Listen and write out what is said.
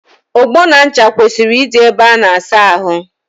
Ogbo na ncha kwesịrị ịdị ébé a na-asa ahụ.